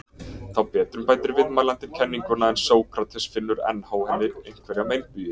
Þá betrumbætir viðmælandinn kenninguna en Sókrates finnur enn á henni einhverja meinbugi.